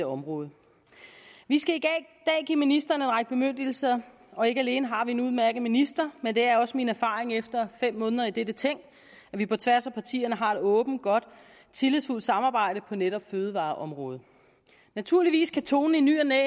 område vi skal i dag give ministeren en række bemyndigelser og ikke alene har vi en udmærket minister men det er også min erfaring efter fem måneder i dette ting at vi på tværs af partierne har et åbent godt og tillidsfuldt samarbejde på netop fødevareområdet naturligvis kan tonen i ny og næ